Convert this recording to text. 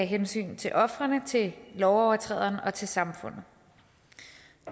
hensyn til ofrene til lovovertræderen og til samfundet